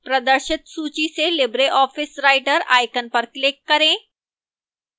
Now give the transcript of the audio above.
प्रदर्शित सूची से libreoffice writer icon पर click करें